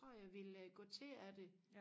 tror jeg at jeg ville gå til af det